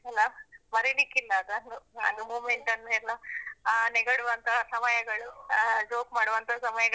ಅಲ್ಲಾ. ಮರಿಲಿಕ್ಕಿಲಲಾ ಅದು moment ನ್ನು ಎಲ್ಲ ಆ ನೆಗಡುವಂತ ಸಮಯಗಳು, ಆ joke ಮಾಡುವಂತಹ ಸಮಯಗಳನ್ನೆಲ್ಲ ಮರಿಲಿಕ್ಕಿಲ್ಲ.